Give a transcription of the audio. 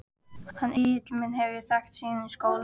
Hann Egil minn hef ég þekkt síðan í skóla.